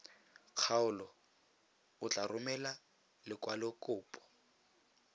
kgaolo o tla romela lekwalokopo